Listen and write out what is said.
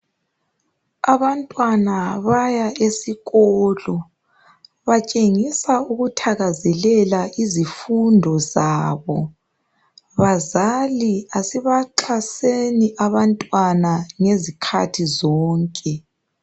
Abantwana baya esikolo, batshengisa ukuthakazelela izifundo zabo. Bazali asibaxhaseni abantwana ngezikhathi zonke.